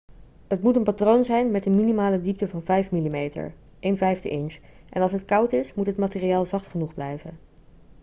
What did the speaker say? het moet een patroon zijn met een minimale diepte van 5 mm 1/5 inch en als het koud is moet het materiaal zacht genoeg blijven